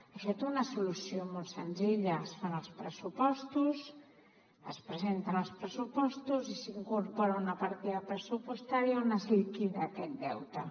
això té una solució molt senzilla es fan els pressupostos es presenten els pressupostos i s’hi incorpora una partida pressupostària on es liquida aquest deute